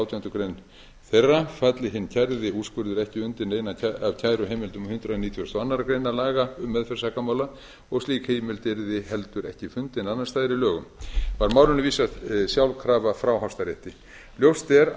átjándu grein þeirra falli hinn kærði úrskurður ekki undir neina af kæruheimildum hundrað nítugasta og aðra grein laga um meðferð sakamála og slík heimild yrði heldur ekki fundin annars staðar í lögum var málinu vísað sjálfkrafa frá hæstarétti ljóst er